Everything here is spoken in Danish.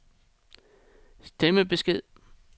stemmebesked